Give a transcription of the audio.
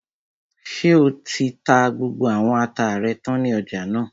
Ṣé o ti ta gbogbo àwọn ata rẹ tán ní ọjà náà?